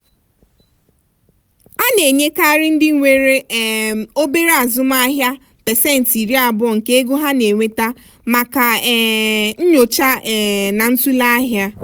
a na-ekenyekarị ndị nwere um obere azụmaahịa pasentị iri abụọ nke ego ha na-enweta maka um nyocha um na ntụle ahịa.